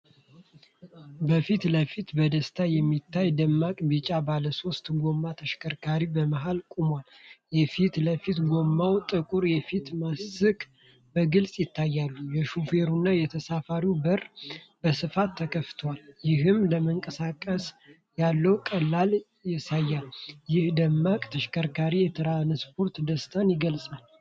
በፊት ለፊቱ በደስታ የሚታይ ደማቅ ቢጫ ባለሶስት ጎማ ተሽከርካሪ በመሃል ቆሟል። የፊት ለፊቱ ጎማና ጥቁር የፊት ማስክ በግልጽ ይታያሉ። የሾፌሩና የተሳፋሪው በር በስፋት ተከፍተዋል፤ ይህም ለመንቀሳቀስ ያለውን ቀላልነት ያሳያል። ይህ ደማቅ ተሽከርካሪ የትራንስፖርት ደስታን ይገልጻል።